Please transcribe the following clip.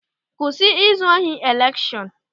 Kwụsị izu ohi elekshọn!